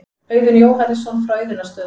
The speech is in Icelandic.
Auðunn Jóhannesson frá Auðunnarstöðum.